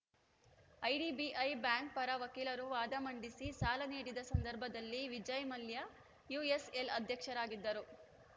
IDBI bank ಪರ ವಕೀಲರು ವಾದ ಮಂಡಿಸಿ ಸಾಲ ನೀಡಿದ್ದ ಸಂದರ್ಭದಲ್ಲಿ ವಿಜಯ್‌ ಮಲ್ಯ ಯುಎಸ್‌ಎಲ್‌ ಅಧ್ಯಕ್ಷರಾಗಿದ್ದರು